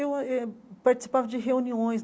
Eu ãh eh participava de reuniões.